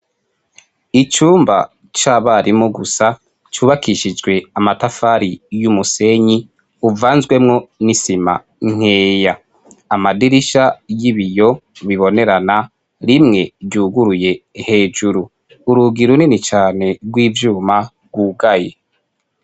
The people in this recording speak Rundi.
Icumba c'abarimu gusa cubakishijwe amatafari n'umusenyi uvanzwemwo n'isima nkeya. Amadirisha y'ibiyo bibonerana, rimwe ryuguruye hejuru. Urugi runini cane rw'ivyuma rwugaye.